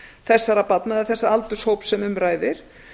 þessara barna eða þessa aldurshópi sem um ræðir